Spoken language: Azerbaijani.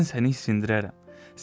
Mən səni isindirərəm.